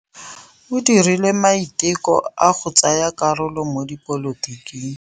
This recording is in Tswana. O dirile maitekô a go tsaya karolo mo dipolotiking.